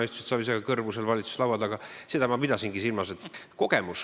Sina istusid Savisaarega kõrvu seal valitsuse laua taga, seda ma pidasingi silmas.